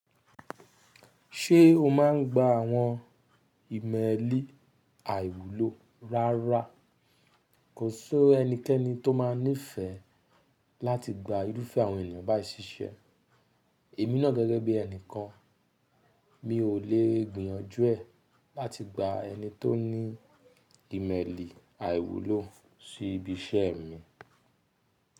Ṣé o máà ń gba àwọn ìmẹ́lì àìwúlò rárá? Kò sí ẹnikẹ́ni tó máa nífẹ̀ẹ́ láti gba irúfẹ́ àwọn ènìyàn bá ì ṣíṣẹ́. Èmi náà gẹ́gẹ́ bí ẹnìkan, mi ò lè gbìyànjú ẹ̀ láti gba ẹni tó ní ìmẹ́li àìwúlò sí ibi iṣẹ́ mi.